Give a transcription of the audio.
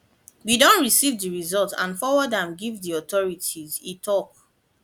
we don receive di results and forward am give di authority e tok